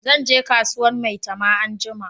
Zan je kasuwan maitama anjima